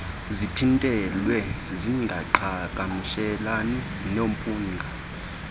zithintelwe zingaqhagamshelani nomphunga